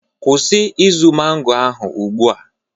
Kwụsị izu mango ahụ ugbu a